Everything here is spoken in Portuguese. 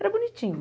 Era bonitinho.